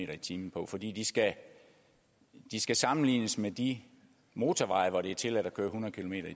per time på fordi de skal skal sammenlignes med de motorveje hvor det er tilladt at køre hundrede kilometer